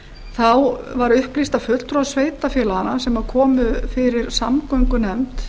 þá var upplýst að fulltrúar sveitarfélaganna sem komu fyrir samgöngunefnd